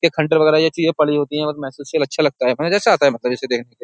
के खंटर वगैरह ये चीजें पड़ी होती हैल अच्छा लगता है ऐसा आता है मतलब इसे देखने --